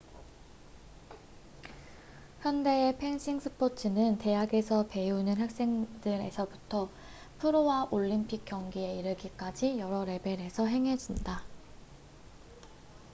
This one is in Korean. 현대의 펜싱의 스포츠는 대학에서 배우는 학생들에서부터 프로와 올림픽 경기에 이르기까지 여러 레벨에서 행해진다